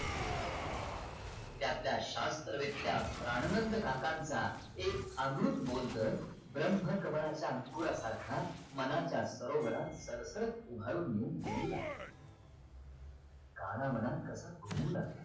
त्या आपल्या शास्त्रवेत्त्या प्राणनंद काकांचा एक अमृत बोल तर ब्रम्हकमळाच्या अंकुरासारखा मनाच्या सरोवरात तरतरत उभारून येऊन डोलू लागला काना मनात कसा घुमू लागला